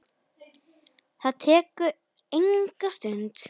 Það tekur enga stund.